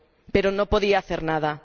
Pero no podía hacer nada.